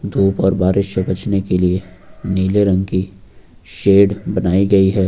धूप और बारिश से बचने के लिए नीले रंग की शेड बनाई गई है।